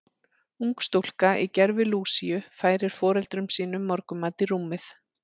Ung stúlka í gervi Lúsíu færir foreldrum sínum morgunmat í rúmið.